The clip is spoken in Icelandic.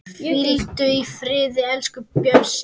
Hvíldu í friði, elsku Bjössi.